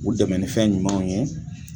U dɛmɛ ni fɛn ɲumanw ye.